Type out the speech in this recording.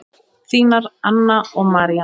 Þínar Anna og María.